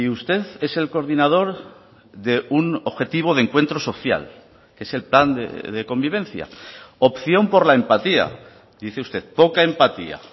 usted es el coordinador de un objetivo de encuentro social que es el plan de convivencia opción por la empatía dice usted poca empatía